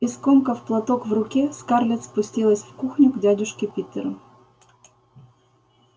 и скомкав платок в руке скарлетт спустилась в кухню к дядюшке питеру